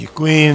Děkuji.